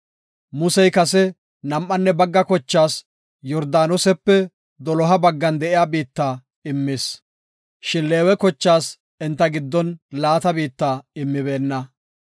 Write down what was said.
Musey kase nam7anne bagga kochaas Yordaanosepe doloha baggan de7iya biitta immis, shin Leewe kochaas enta giddon laata biitta immibeenna.